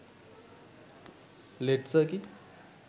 led circuit